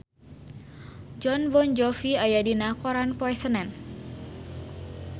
Jon Bon Jovi aya dina koran poe Senen